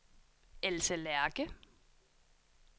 Else Lerche